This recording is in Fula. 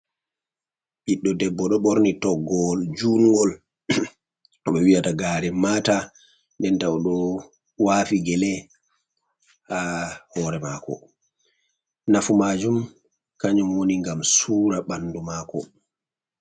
Ɓiddo debbo ɗo ɓorni toggowol jungol. Ɗum ɓe wi'ata garen mata. Den ta oɗo wafi gele ha hore mako. Nafu majum kanjum woni gam sura bandu mako.